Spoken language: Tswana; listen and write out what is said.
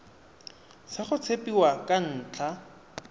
sa go tshepiwa ka ntlha